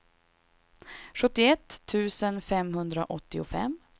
sjuttioett tusen femhundraåttiofem